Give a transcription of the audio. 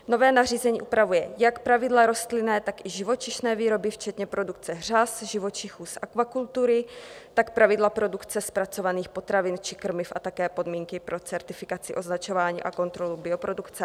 Nové nařízení upravuje jak pravidla rostlinné, tak i živočišné výroby včetně produkce řas, živočichů z akvakultury, tak pravidla produkce zpracovaných potravin či krmiv a také podmínky pro certifikaci, označování a kontrolu bioprodukce.